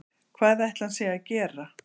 Hvað ætli hann sé að gera